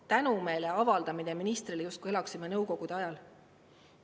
Tänumeele avaldamine ministrile, justkui elaksime nõukogude ajal ...